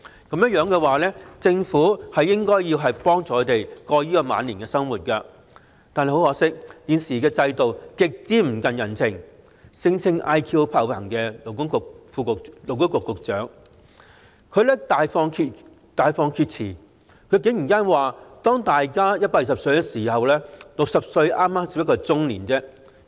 若然如此，政府應協助他們渡過晚年生活，但很可惜，現時的制度極不近人情，聲稱 "IQ 爆棚"的勞工及福利局局長大放厥詞，竟然說當大家也可活到120歲時 ，60 歲便只是中年。